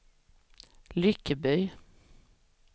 Lyckeby